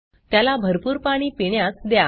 त्याला भरपूर पाणी पिण्यास द्या